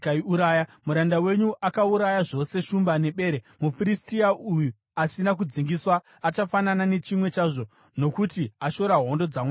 Muranda wenyu akauraya zvose shumba nebere; muFiristia uyu asina kudzingiswa achafanana nechimwe chazvo, nokuti ashora hondo dzaMwari mupenyu.